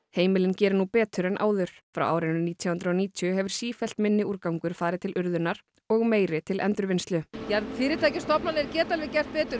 heimilin geri nú betur en áður frá árinu nítján hundruð og níutíu hefur sífellt minni úrgangur farið til urðunar og meiri til endurvinnslu fyrirtæki og stofnanir geta gert betur